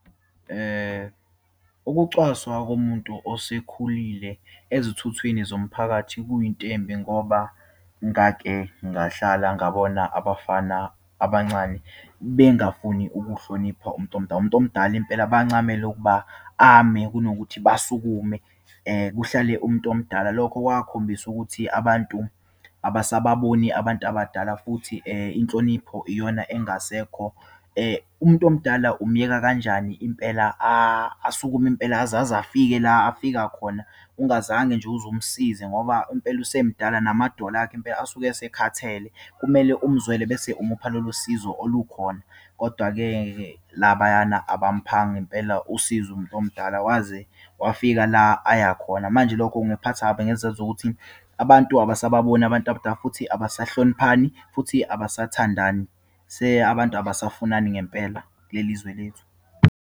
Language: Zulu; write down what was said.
Ukucwaswa kumuntu osekhulile ezithuthwini zomphakathi kuyinto embi, ngoba ngake ngahlala ngabona abafana abancane bengafuni ukuhlonipha umntu omdala. Umuntu omdala impela, bancamule ukuba ame kunokuthi basukume kuhlale umuntu omdala. Lokho kwakhombisa ukuthi abantu abasababoni abantu abadala, futhi inhlonipho iyona engasekho. Umuntu omdala umyeka kanjani impela asukume, impela azazafike la afika khona, ungazange nje uze umsize ngoba impela usemdala, namadolo akhe impela asuke esekhathele. Kumele umzwele bese umupha lolo sizo olukhona. Kodwa-ke ke labayana abamphanga impela usizo umuntu omdala waze wafika la ayakhona. Manje, lokho kungiphatha kabi ngezizathu zokuthi abantu abasababoni abantu abadala, futhi abasahloniphani, futhi abasathandani. Abantu abasafunani ngempela kuleli izwe lethu.